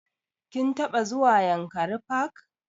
Ka taɓa zuwa yankari park?